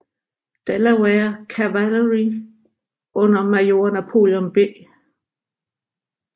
Delaware Cavalry under major Napoleon B